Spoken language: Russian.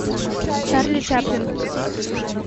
чарли чаплин